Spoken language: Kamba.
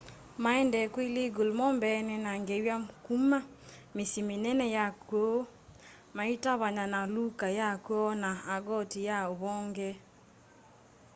maendee kwilegal mo mbene na ngewa kuma misyi minene ya kwoo maitavanya na luka ya kwoo na argoti ya uvonge